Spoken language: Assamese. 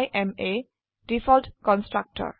I am a default constructor